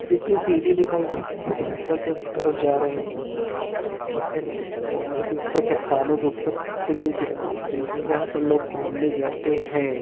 देखिए सीडी दिखाई ऊपर के उत्तरफ जा रहे है जिसमे ऊपर रास्ते पहाड़ी के ऊपर चट्टानों के ऊपर किले जहां पर लोग घूमने जाते है।